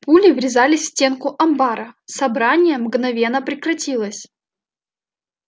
пули врезались в стенку амбара собрание мгновенно прекратилось